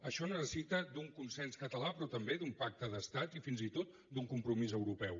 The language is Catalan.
això necessita un consens català però també un pacte d’estat i fins i tot un compromís europeu